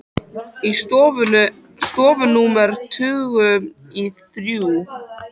Í stofu númer tuttugu og þrjú.